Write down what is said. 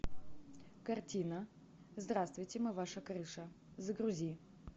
картина здравствуйте мы ваша крыша загрузи